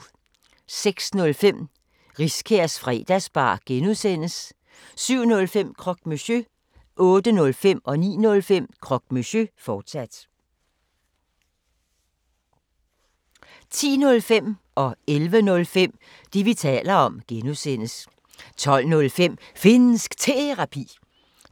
06:05: Riskærs Fredagsbar (G) 07:05: Croque Monsieur 08:05: Croque Monsieur, fortsat 09:05: Croque Monsieur, fortsat 10:05: Det, vi taler om (G) 11:05: Det, vi taler om (G) 12:05: Finnsk Terapi